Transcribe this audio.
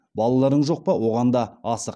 балаларың жоқ па оған да асық